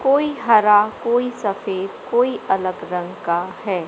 कोई हरा कोई सफेद कोई अलग रंग का है।